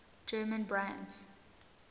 german brands